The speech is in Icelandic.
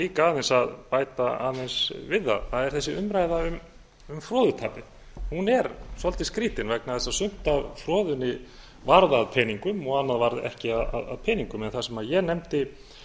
líka að bæta aðeins við það það er þessi umræða um froðutapið hún er svolítið skrýtin vegna þess að sumt af froðunni varð að peningum og annað varð ekki að peningum það sem ég nefndi